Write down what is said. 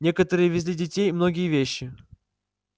некоторые везли детей многие вещи